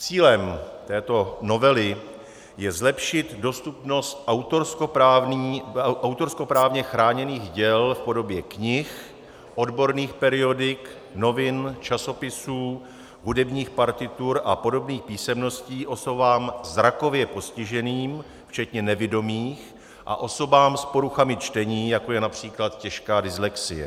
Cílem této novely je zlepšit dostupnost autorskoprávně chráněných děl v podobě knih, odborných periodik, novin, časopisů, hudebních partitur a podobných písemností osobám zrakově postiženým včetně nevidomých a osobám s poruchami čtení, jako je například těžká dyslexie.